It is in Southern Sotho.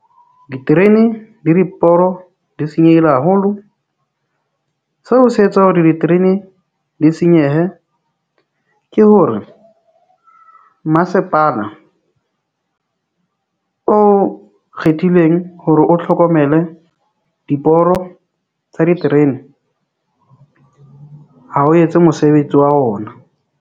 Diterene le diporo di senyehile haholo. Seo se etsa hore diterene di senyehe, ke hore mmasepala o kgethileng hore o tlhokomele diporo tsa diterene ha o etse mosebetsi wa ona.